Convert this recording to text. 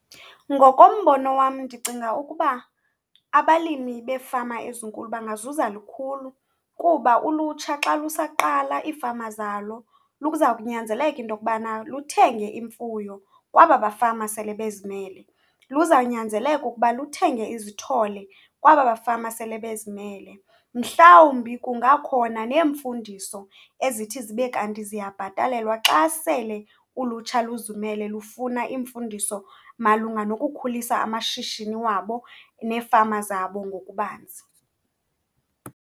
Ngokombono wam, ndicinga ukuba abalimi beefama ezinkulu bangazuza lukhulu kuba ulutsha xa lusaqala iifama zalo luza kunyanzeleka into okubana luthenge imfuyo kwaba bafama sele bezimele, luzawunyanzeleka ukuba luthenge izithole kwaba bafama sele bezimele. Mhlawumbi kungakhona neemfundiso ezithi zibe kanti ziyabhatalelwa xa sele ulutsha luzimele lufuna iimfundiso malunga nokukhulisa amashishini wabo neefama zabo ngokubanzi.